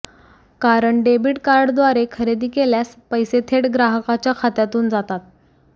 कारण डेबिट कार्डद्वारे खरेदी केल्यास पैसे थेट ग्राहकाच्या खात्यातून जातात